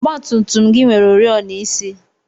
ọgba tum tum gị nwere oriọna isi?